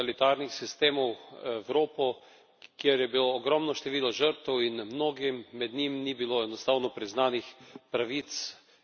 Evropo, kjer je bilo ogromno število žrtev, in mnogim med njimi ni bilo enostavno priznanih pravic in statusa žrtev.